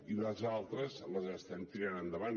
i les altres les estem tirant endavant